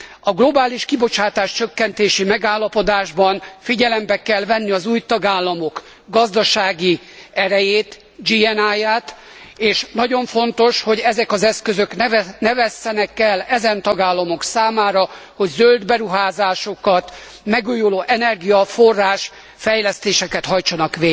A globális kibocsátás csökkentési megállapodásban figyelembe kell venni az új tagállamok gazdasági erejét, GNA ját és nagyon fontos, hogy ezek az eszközök ne vesszenek el ezen tagállamok számára, hogy zöld beruházásokat, megújulóenergiaforrás fejlesztéseket hajtsanak